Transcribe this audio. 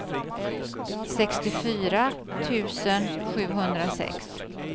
sextiofyra tusen sjuhundrasex